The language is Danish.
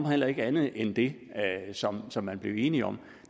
omhandler ikke andet end det som som man blev enig om